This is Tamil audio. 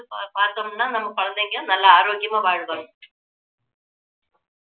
எடுத்து பார்த்தோம்னா நம்ம குழந்தைங்க நல்லா ஆரோக்கியமா வாழ்வாங்க